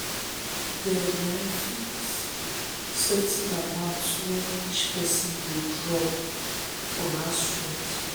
dem um fix certain amount um wey each person go drop drop for um house rent.